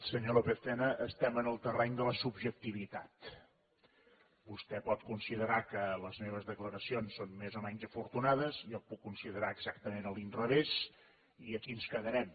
senyor lópez tena estem en el terreny de la subjectivitat vostè pot considerar que les meves declaracions són més o menys afortunades jo ho puc considerar exactament a l’inrevés i aquí ens quedarem